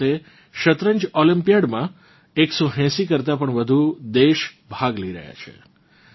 આ વખતે શતરંજ ઓલમ્પિયાડમાં 180 કરતાં પણ વધુ દેશ ભાગ લઇ રહ્યાં છે